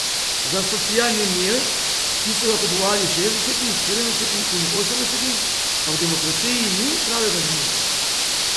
Za socialni mir, ki so ga kupovali v šestdesetih, sedemdesetih in osemdesetih, pa v demokraciji ni pravega zanimanja.